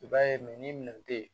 I b'a ye ni minɛn te yen